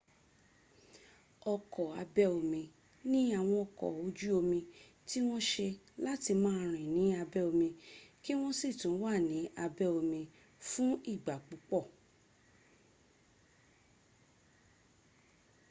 ọkọ̀ abẹ́ omi ni àwọn ọkọ̀ ojú omí tí wọn ṣe láti máa rìn ní abẹ́ omi kí wọ́n sì tún wà ní abẹ́ omí fún ìgbà púpọ̀